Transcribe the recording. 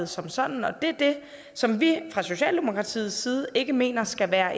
som sådan og det er det som vi fra socialdemokratiets side ikke mener skal være